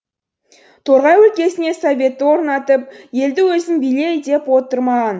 торғай өлкесіне советті орнатып елді өзің биле деп отыр маған